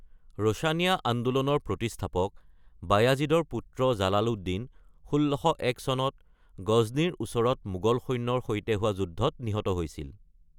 ৰোষণীয়া আন্দোলনৰ প্ৰতিষ্ঠাপক বায়াজিদৰ পুত্ৰ জালালুদ্দিন ১৬০১ চনত গজ্নীৰ ওচৰত মোগল সৈন্যৰ সৈতে হোৱা যুদ্ধত নিহত হৈছিল।